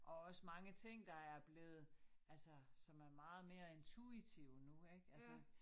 Og også mange ting der er blevet altså som er meget mere intuitive nu ik altså